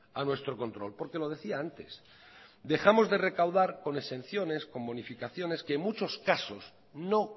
a nuestro control porque lo decía antes dejamos de recaudar con exenciones con bonificaciones que en muchos casos no